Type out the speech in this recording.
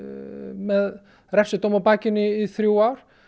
með refsidóm á bakinu í þrjú ár